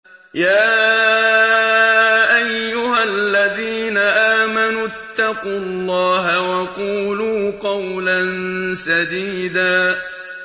يَا أَيُّهَا الَّذِينَ آمَنُوا اتَّقُوا اللَّهَ وَقُولُوا قَوْلًا سَدِيدًا